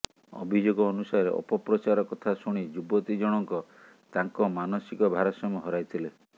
ଅଭିଯୋଗ ଅନୁସାରେ ଅପପ୍ରଚାର କଥା ଶୁଣି ଯୁବତୀ ଜଣଙ୍କ ତାଙ୍କ ମାନସିକ ଭାରସାମ୍ୟ ହରାଇଥିଲେ